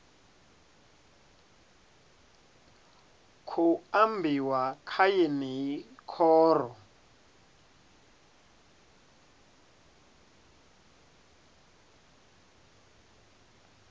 khou ambiwa kha yeneyi khoro